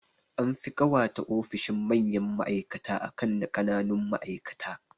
An fi ƙawata ofishin manyan ma'aikata akan na ƙananun ma'aikata